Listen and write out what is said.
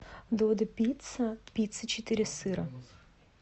додо пицца пицца четыре сыра